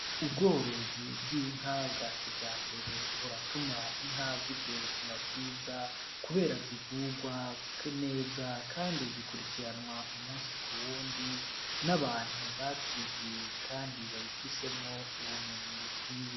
Ubworozi bw'inka bwa kija mbere buratuma inka zigire ubuzima bwiza, kubera zivugwaneza, kandi zikurikiranwa u musi ku wundi n'abantu babyiyiye, kandi babifisemwo ubumenyi bukwiye.